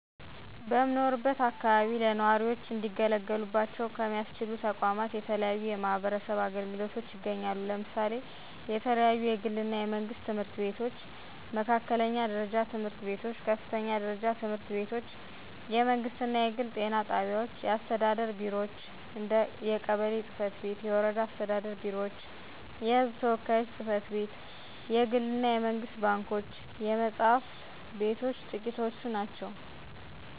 በምኖርበት አከባቢ ለነዋሪዎች እንዲገለገሉባቸው ሚያስችሉ ተቋማት የተለያዩ የማህበረሰብ አገልግሎቶች ይገኛሉ። ለምሳሌ የተለያዩ የግል እና የመንግስት ትምህርት ቤቶች፣ መካከለኛ ደረጃ ትምህርት ቤቶች፣ ከፍተኛ ደረጃ ትምህርት ቤቶች፣ የመንግስት እና የግል ጤና ጣቢያዎች፣ የአስተዳደር ቢሮዎች እንደ የቀበሌ ፅ/ቤቶች፤ የወረዳ አስተዳደር ቢሮዎች፤ የህዝብ ተወካዮች ጽ/ቤት፣ የግል እና የመንግስት ባንኮች፣ የመፅሐፍት ቤቶች ጥቂቶቹ ናቸው።